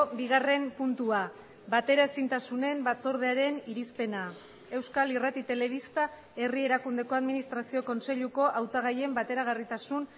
bigarren puntua bateraezintasunen batzordearen irizpena euskal irrati telebista herri erakundeko administrazio kontseiluko hautagaien bateragarritasun